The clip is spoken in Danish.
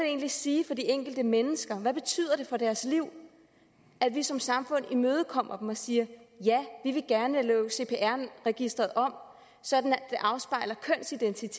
egentlig sige for de enkelte mennesker hvad betyder det for deres liv at vi som samfund imødekommer dem og siger ja vi vil gerne lave cpr registeret om sådan at